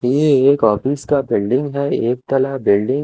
ये एक ऑफिस का बिल्डिंग है एक तला बिल्डिंग --